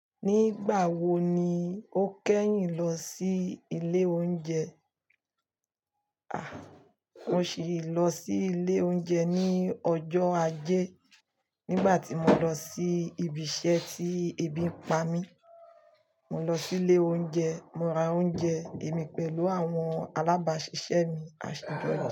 Nígbà wo ni o kẹ́yìn lọ sí ilé oúnjẹ? Mo sì lọ sí ilé oúnjẹ ní ọjọ́ ajé. Nígbà tí mo lọ sí ibi iṣẹ́ tí ebi ń pa mí. Mo lọ sí ilé oúnjẹ, mo ra oúnjẹ èmi pẹ̀lú àwọn alábàásisẹ́ mi, aṣọ ìdọ̀tí.